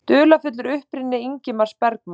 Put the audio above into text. Dularfullur uppruni Ingmars Bergman